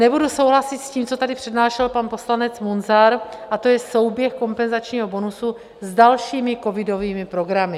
Nebudu souhlasit s tím, co tady přednášel pan poslanec Munzar, a to je souběh kompenzačního bonusu s dalšími covidovými programy.